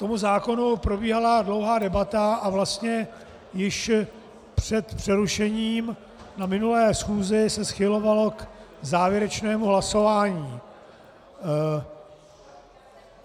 K zákonu probíhala dlouhá debata a vlastně již před přerušením na minulé schůzi se schylovalo k závěrečnému hlasování.